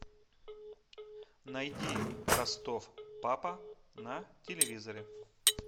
найди ростов папа на телевизоре